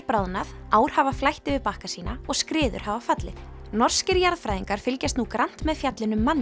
bráðnað ár hafa flætt yfir bakka sína og skriður hafa fallið norskir jarðfræðingar fylgjast nú grannt með fjallinu